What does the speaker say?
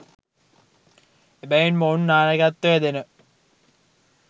එබැවින් මොවුන් නායකත්වය දෙන